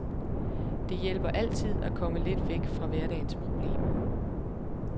Det hjælper altid at komme lidt væk fra hverdagens problemer.